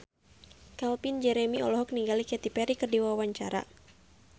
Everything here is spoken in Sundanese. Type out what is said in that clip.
Calvin Jeremy olohok ningali Katy Perry keur diwawancara